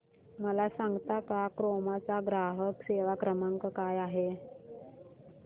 मला सांगता का क्रोमा चा ग्राहक सेवा क्रमांक काय आहे